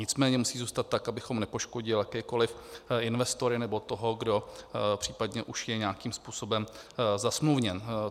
Nicméně musí zůstat tak, abychom nepoškodili jakékoli investory nebo toho, kdo případně už je nějakým způsobem zasmluvněn.